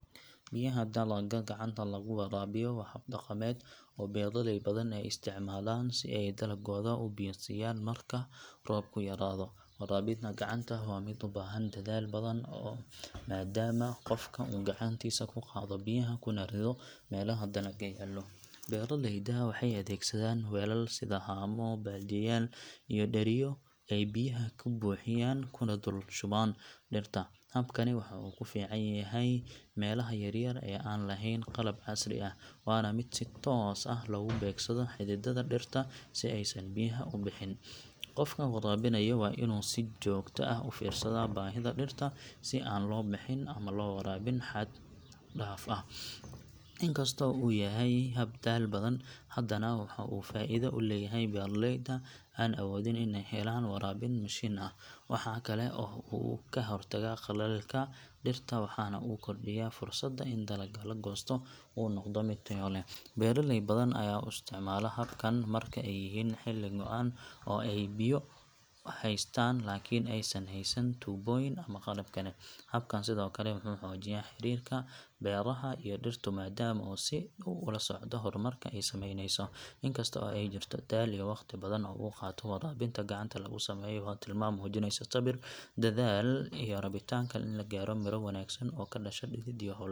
Biyaha dalagga gacanta lagu waraabiyo waa hab dhaqameed oo beeraley badan ay isticmaalaan si ay dalaggooda u biyo siiyaan marka roobku yaraado. Waraabinta gacanta waa mid u baahan dadaal badan maadaama qofku uu gacantiisa ku qaado biyaha kuna rido meelaha dalagga yaallo. Beeraleydu waxay adeegsadaan weelal sida haamo, baaldiyaal iyo dheriyo ay biyaha ka buuxiyaan kuna dul shubaan dhirta. Habkani waxa uu ku fiican yahay meelaha yaryar ee aan lahayn qalab casri ah, waana mid si toos ah loogu beegsado xididdada dhirta si aysan biyaha u bixin. Qofka waraabinaya waa inuu si joogto ah u fiirsadaa baahida dhirta si aan loo bixin ama loo waraabin xad dhaaf ah. Inkastoo uu yahay hab daal badan, haddana waxa uu faa’iido u leeyahay beeraleyda aan awoodin in ay helaan waraabin mashiin ah. Waxa kale oo uu ka hortagaa qallaylka dhirta waxaana uu kordhiyaa fursadda in dalagga la goosto uu noqdo mid tayo leh. Beeraley badan ayaa u isticmaala habkan marka ay yihiin xilli go'an oo ay biyo haystaan laakiin aysan haysan tuubooyin ama qalab kale. Habkan sidoo kale wuxuu xoojiyaa xiriirka beeralaha iyo dhirtu maadaama uu si dhow ula socda horumarka ay samayneyso. In kasta oo ay jirto daal iyo waqti badan oo uu qaato, waraabinta gacanta lagu sameeyo waa tilmaan muujinaysa sabir, dadaal, iyo rabitaanka in la gaadho miro wanaagsan oo ka dhasha dhidid iyo hawl adag.